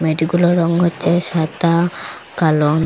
মিডিগুলোর রং হচ্ছে সাদা কালোন।